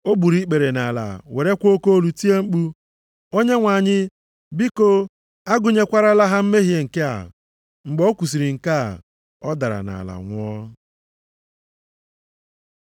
O gburu ikpere nʼala werekwa oke olu tie mkpu, “Onyenwe anyị, biko agụnyekwarala ha mmehie nke a!” Mgbe o kwusiri nke a, ọ dara nʼala nwụọ.